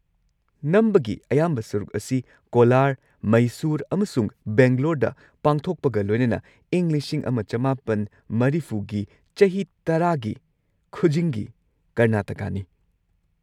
ꯅꯝꯕꯒꯤ ꯑꯌꯥꯝꯕ ꯁꯔꯨꯛ ꯑꯁꯤ ꯀꯣꯂꯥꯔ, ꯃꯩꯁꯨꯔ ꯑꯃꯁꯨꯡ ꯕꯦꯡꯒꯂꯣꯔꯗ ꯄꯥꯡꯊꯣꯛꯄꯒ ꯂꯣꯏꯅꯅ ꯏꯪ ꯱꯹꯸꯰ꯒꯤ ꯆꯍꯤ ꯇꯔꯥꯒꯤ ꯈꯨꯖꯤꯡꯒꯤ ꯀꯔꯅꯥꯇꯀꯥꯅꯤ꯫